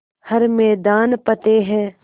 हर मैदान फ़तेह